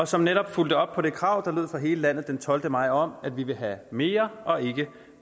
som netop fulgte op på det krav der lød fra hele landet den tolvte maj om at vi vil have mere og ikke